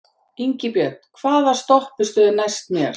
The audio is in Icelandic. Ingibjörn, hvaða stoppistöð er næst mér?